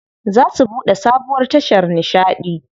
Za su buɗe sabuwar tashar nishaɗi.